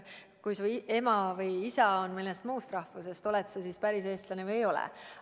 Kui su ema või isa on mõnest muust rahvusest, oled sa siis päris eestlane või ei ole?